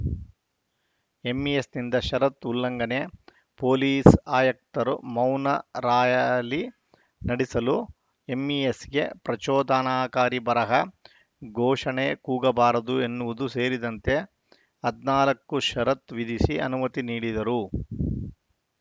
ಎಂಇಎಸ್‌ನಿಂದ ಷರತ್ತು ಉಲ್ಲಂಘನೆ ಪೊಲೀಸ್‌ ಆಯುಕ್ತರು ಮೌನ ರಾಯಲಿ ನಡೆಸಲು ಎಂಇಎಸ್‌ಗೆ ಪ್ರಚೋದನಾಕಾರಿ ಬರಹ ಘೋಷಣೆ ಕೂಗಬಾರದು ಎನ್ನುವುದು ಸೇರಿದಂತೆ ಹದಿನಾಲ್ಕು ಷರತ್ತು ವಿಧಿಸಿ ಅನುಮತಿ ನೀಡಿದ್ದರು